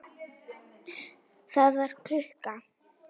Það var klukka.